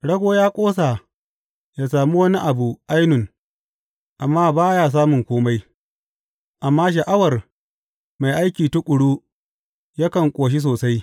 Rago ya ƙosa ya sami wani abu ainun amma ba ya samun kome, amma sha’awar mai aiki tuƙuru yakan ƙoshi sosai.